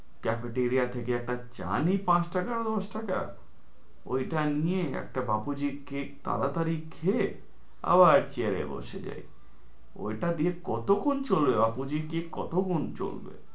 Cafeteria থেকে একটা চা নি পাঁচ টাকা দশ টাকা ওইটা নিয়ে একটা বাপুজি cake তাড়াতাড়ি খেয়ে আবার chair এ বসে যাই ওইটা দিয়ে কতক্ষণ চলবে বাপুজি cake কতক্ষণ চলবে?